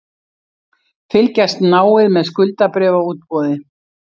Fylgjast náið með skuldabréfaútboði